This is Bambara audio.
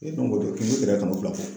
E an bɔ tɔ kunko tɛra kano bila